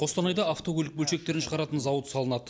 қостанайда автокөлік бөлшектерін шығаратын зауыт салынады